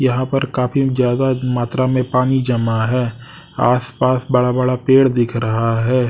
यहां पर काफी ज्यादा मात्रा में पानी जमा है आस पास बड़ा बड़ा पेड़ दिख रहा है।